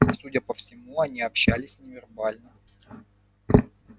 судя по всему они общались невербально